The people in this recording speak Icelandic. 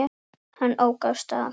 Hann ók af stað.